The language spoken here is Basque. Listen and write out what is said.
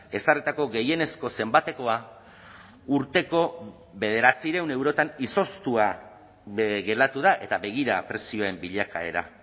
ezarritako gehienezko zenbatekoa urteko bederatziehun eurotan izoztua geratu da eta begira prezioen bilakaera